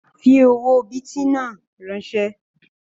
Fi owó bìtì náà ránsẹ́!